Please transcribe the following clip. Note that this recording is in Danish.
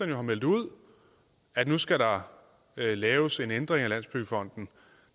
jo har meldt ud at nu skal der laves en ændring af landsbyggefonden